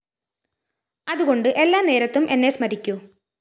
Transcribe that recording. അതുകൊണ്ട് എല്ലാ നേരത്തും എന്നെ സ്മരിക്കൂ